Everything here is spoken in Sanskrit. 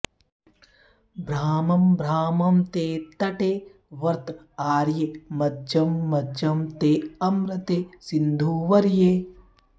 भ्रामं भ्रामं ते तटे वर्त आर्ये मज्जं मज्जं तेऽमृते सिन्धुवर्ये